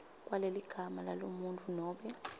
kwaleligama lalomuntfu nobe